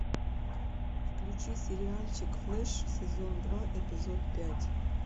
включи сериальчик флэш сезон два эпизод пять